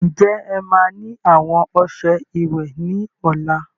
Ǹjẹ́ ẹ má ni àwọn ọsẹ ìwẹ̀ ni ọ̀la?